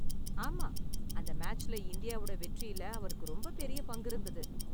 ஆமா, அந்த மேட்ச்ல இந்தியாவோட வெற்றியில அவருக்கு ரொம்பப் பெரிய பங்கிருந்தது.